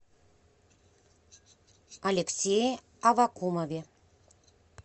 алексее аввакумове